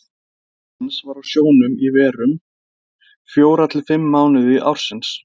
Faðir hans var á sjónum í verum, fjóra til fimm mánuði ársins.